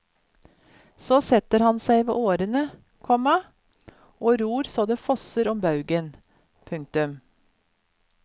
Så setter han seg ved årene, komma og ror så det fosser om baugen. punktum